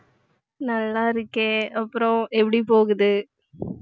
நல்லாருக்கேன் அப்புறம் எப்படி போகுது